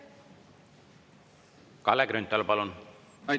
Kalle Grünthal, palun!